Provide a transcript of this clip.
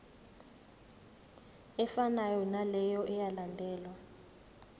efanayo naleyo eyalandelwa